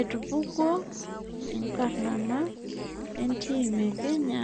Etupkuo enkarana etim ekenya